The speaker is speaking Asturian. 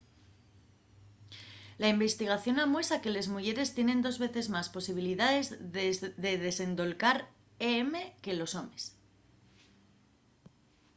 la investigación amuesa que les muyeres tienen dos veces más posibilidaes de desendolcar em que los homes